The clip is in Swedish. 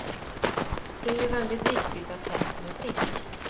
Det är ju väldigt viktigt att hästen är frisk.